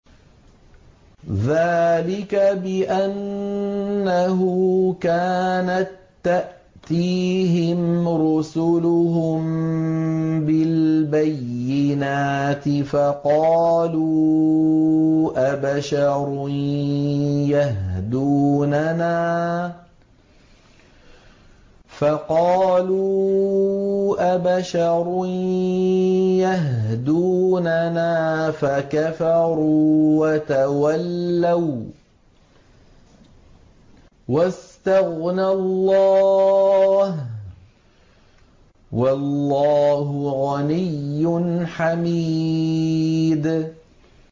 ذَٰلِكَ بِأَنَّهُ كَانَت تَّأْتِيهِمْ رُسُلُهُم بِالْبَيِّنَاتِ فَقَالُوا أَبَشَرٌ يَهْدُونَنَا فَكَفَرُوا وَتَوَلَّوا ۚ وَّاسْتَغْنَى اللَّهُ ۚ وَاللَّهُ غَنِيٌّ حَمِيدٌ